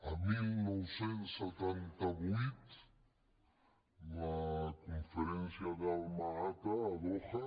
el dinou setanta vuit la conferència de alma ata a doha